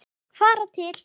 Fara til